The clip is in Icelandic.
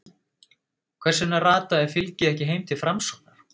Hvers vegna rataði fylgið ekki heim til Framsóknar?